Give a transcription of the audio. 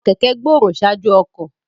Àwọn kẹ̀kẹ́ gbòòrò ṣáájú àwọn ọkọ̀.